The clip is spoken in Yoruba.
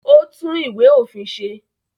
Ó tún Ìwé-òfin ṣe?